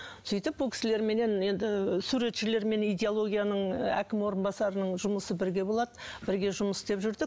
сөйтіп бұл кісілерменен енді суретшілермен идеологияның әкім орынбасарының жұмысы бірге болады бірге жұмыс істеп жүрдік